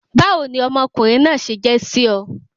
Báwo ni ọmọ ọkùnrin náà se je sí o?